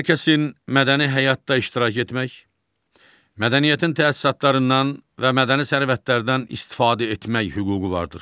Hər kəsin mədəni həyatda iştirak etmək, mədəniyyətin təsisatlarından və mədəni sərvətlərdən istifadə etmək hüququ vardır.